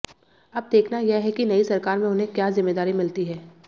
अब देखना यह है कि नई सरकार में उन्हें क्या जिम्मेदारी मिलती है